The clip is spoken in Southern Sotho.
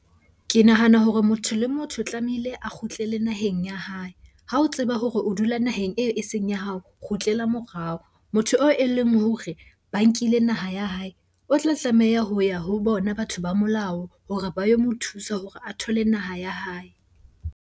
Ke nahana hore motho le motho tlamehile a kgutlele naheng ya hae. Ha o tseba hore o dula naheng eo eseng ya hao, kgutlela morao. Motho oo e leng hore ba nkile naha ya hae. O tla tlameha ho ya ho bona batho ba molao hore ba yo mo thusa hore a thole naha ya hae.